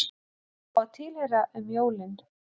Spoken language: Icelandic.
Að fá að tilheyra um jólin